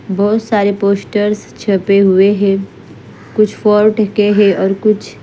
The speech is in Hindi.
बहत सारे पोस्टरस छपे हुए है कुछ फोर्ड के है और कुछ --